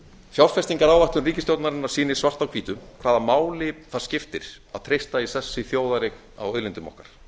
fjárfestingaráætlun ríkisstjórnarinnar sýnir svart á hvítu hvaða máli það skiptir að treysta í sessi þjóðareign á auðlindum okkar